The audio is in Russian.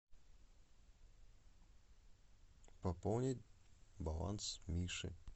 пополнить баланс миши